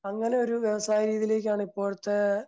അങ്ങനൊരു വ്യവസായി ഇതിലേക്കാണ് ഇപ്പോഴത്തെ